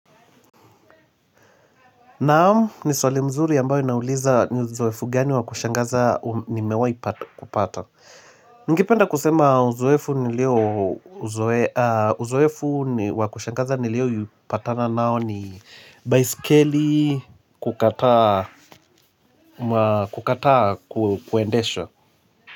Naam ni swali mzuri ambayo inauliza ni uzoefu gani wakushangaza nimewahi kupata. Ningependa kusema uzoefu nilio uzoefu wakushangaza niliou patana nao ni baiskeli kukataa kuendeshwa.